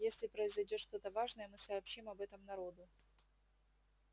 если произойдёт что-то важное мы сообщим об этом народу